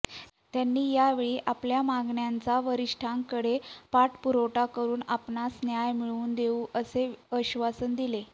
त्यांनी यावेळी आपल्या मागण्यांचा वरिष्ठांकडे पाठपुरावा करून आपणास न्याय मिळवून देऊ असे आश्वासन दिले